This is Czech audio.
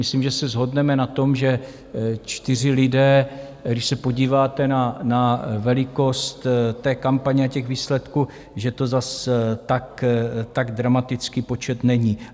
Myslím, že se shodneme na tom, že čtyři lidé, když se podíváte na velikost té kampaně a těch výsledků, že to zase tak dramatický počet není.